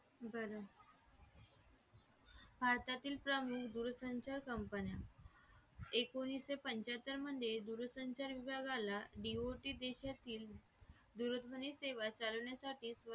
भारतातील प्रमुख दूरसंचार कंपन्या एकोणीशेपंचाहत्तर म्हणजे दूरसंचार विभागाला duty देशातील दूरध्वनी सेवा चालवण्यासाठी